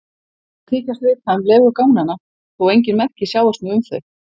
Menn þykjast vita um legu ganganna þó engin merki sjáist nú um þau.